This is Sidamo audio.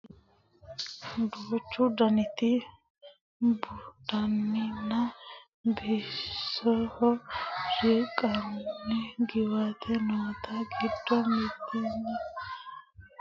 duuchu daniti buudhinanninna bisoho riqqinanni qiwaatta noote giddo mitticho angtenni amadde ingilizete afiinni borreessinoonni borro noota leellishshanninna kultanni no yaate